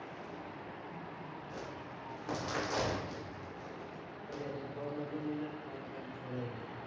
അതെ, ഉപ്പ വന്നപ്പോൾ ഞങ്ങൾ മാറി താമസിച്ചതായിരുന്നു.